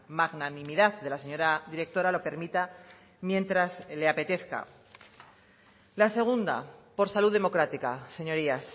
magnanimidad de la señora directora lo permita mientras le apetezca la segunda por salud democrática señorías